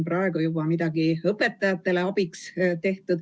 Kas on juba tehtud midagi, et õpetajaid selles aidata?